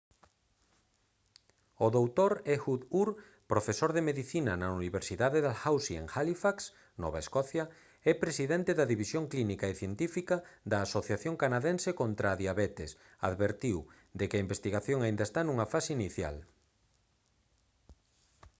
o dr. ehud ur profesor de medicina na universidade dalhousie en halifax nova escocia e presidente da división clínica e científica da asociación canadense contra a diabetes advertiu de que a investigación aínda está nunha fase inicial